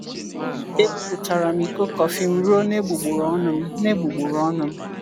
Ebuputara m iko kọfị m ruo n’egbugboro ọnụ m. n’egbugboro ọnụ m.